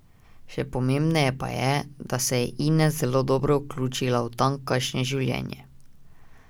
Še pomembneje pa je, da se je Ines zelo dobro vključila v tamkajšnje življenje.